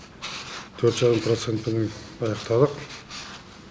төрт жарым процентпенен аяқталады